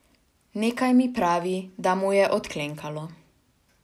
Nekaj mi pravi, da mu je odklenkalo.